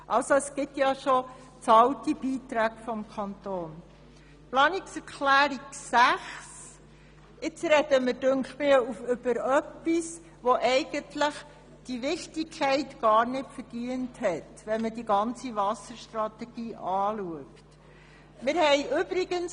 Bei den Planungserklärungen 6 und 7 sprechen wir über etwas, das diese Wichtigkeit gar nicht verdient, wenn man die ganze Wasserstrategie betrachtet.